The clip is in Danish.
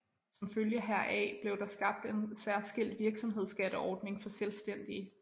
Som følge heraf blev der skabt en særskilt virksomhedsskatteordning for selvstændige